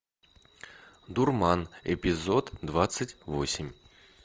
дурман эпизод двадцать восемь